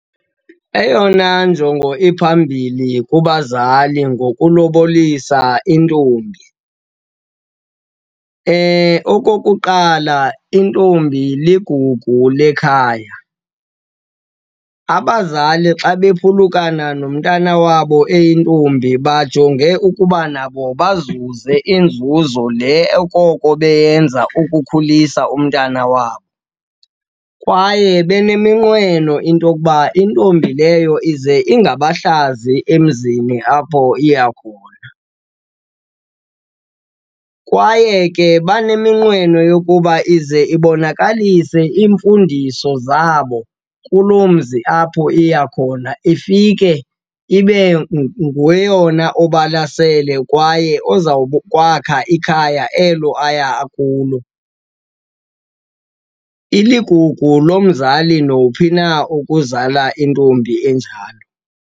Eyona njongo iphambili kubazali ngokulubolisa intombi, okokuqala, intombi ligugu lekhaya. Abazali xa bephulukakana nomntana wabo eyintombi bajonge ukuba nabo bazuze inzuzo le okoko beyenza ukukhulisa umntana wabo. Kwaye beneminqweno into yokuba intombi leyo ize ingabahlazi emzini apho iya khona. Kwaye ke baneminqweno yokuba ize ibonakalise iimfundiso zabo kuloo mzi apho iya khona, ifike ibe ngeyona obalasele kwaye ozawukwakha ikhaya elo aya kulo. Iligugu lomzali nowuphi na ukuzala intombi enjalo.